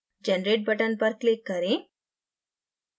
generate button पर click करें